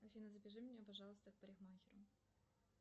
афина запиши меня пожалуйста к парикмахеру